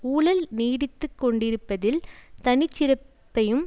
ஊழல் நீடித்து கொண்டிருப்பதில் தனி சிறப்பையும்